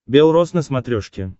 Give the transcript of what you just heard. белрос на смотрешке